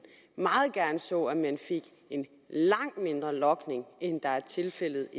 meget gerne så at man fik en langt mindre logning end tilfældet